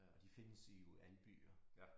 Og de findes jo i alle byer